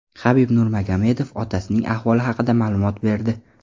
Habib Nurmagomedov otasining ahvoli haqida ma’lumot berdi.